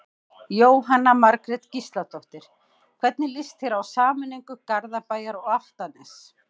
Jóhanna Margrét Gísladóttir: Hvernig lýst þér á sameiningu Garðabæjar og Álftanes?